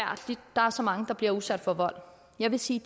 der er så mange der bliver udsat for vold jeg vil sige